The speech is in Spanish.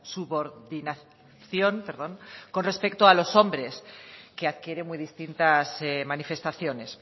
subordinación con respecto a los hombres que adquiere muy distintas manifestaciones